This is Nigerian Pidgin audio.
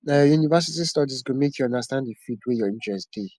na your university studies go make you understand the field wey your interest dey